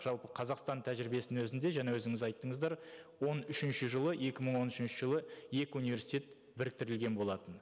жалпы қазақстан тәжірибесінің өзінде жаңа өзіңіз айттыңыздар он үшінші жылы екі мың он үшінші жылы екі университет біріктірілген болатын